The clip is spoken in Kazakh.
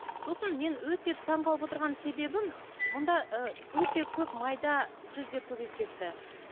сосын мен өте таңғалып отырған себебім мұнда ы өте көп майда сөздер көбейіп кетті